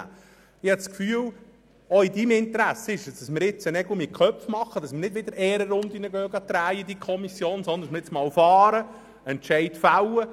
Ich habe das Gefühl, es sei auch in Ihrem Interesse, dass wir jetzt Nägel mit Köpfen machen und nicht wieder Ehrenrunden in der Kommission drehen, sondern so fahren und einen Entscheid fällen.